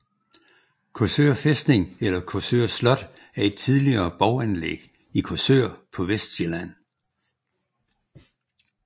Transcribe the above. Korsør Fæstning eller Korsør Slot er et tidligere borganlæg i Korsør på Vestsjælland